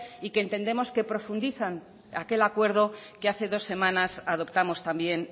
y que entendemos que profundizar aquel acuerdo que hace dos semanas adoptamos también